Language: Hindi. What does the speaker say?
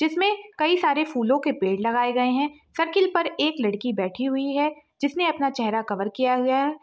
इसमें कई सारे फूलों के पेड़ लगाए गए हैं सर्कल पर एक लड़की बैठी हुई है जिसने अपना चेहरा कवर किया हुआ है।